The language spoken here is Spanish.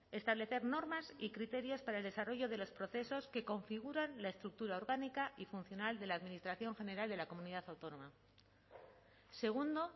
establecer normas y criterios para el desarrollo de los procesos que configuran la estructura orgánica y funcional de la administración general de la comunidad autónoma segundo